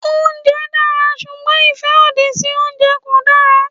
Oúnjẹ dára ṣùgbọ́n ìfẹ́ òdì fún oúnjẹ kò dára.